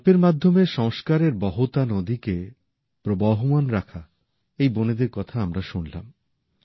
গল্পের মাধ্যমে সংস্কারের বহতা নদীকে প্রবহমান রাখা এই বোনেদের কথা আমরা শুনলাম